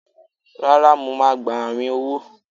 rara, mọ ma gbá